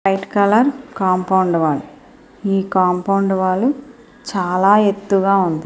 White colour compound wall ఈ compound wall చాల ఎత్తుగా ఉంది.